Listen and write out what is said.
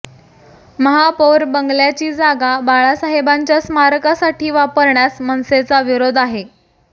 महापौर बंगल्याची जागा बाळासाहेबांच्या स्मारकासाठी वापरण्यास मनसेचा विरोध आहे